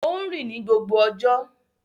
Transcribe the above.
Ó ń rìn ní gbogbo ọjọ́.